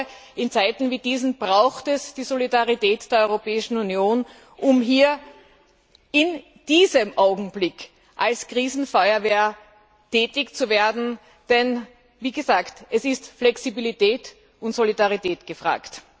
Ich glaube, in Zeiten wie diesen braucht es die Solidarität der Europäischen Union, um in diesem Augenblick als Krisenfeuerwehr tätig zu werden, denn, wie gesagt, es sind Flexibilität und Solidarität gefragt.